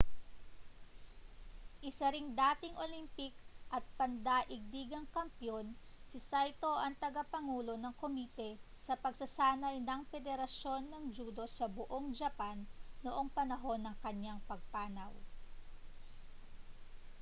isa ring dating olympic at pandaigdigang kampeon si saito ang tagapangulo ng komite sa pagsasanay ng pederasyon ng judo sa buong japan noong panahon ng kaniyang pagpanaw